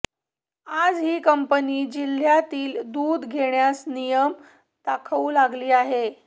आज ही कंपनी जिल्हय़ातील दूध घेण्यास नियम दाखवू लागली आहे